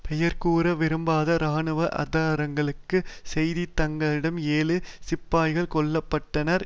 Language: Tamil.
பெயர்கூற விரும்பாத இராணுவ ஆதாரங்கள் செய்தித்தாட்களிடம் ஏழு சிப்பாய்கள் கொல்ல பட்டனர்